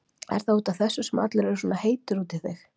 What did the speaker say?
Er það út af þessu sem allir eru svona heitir út í þig?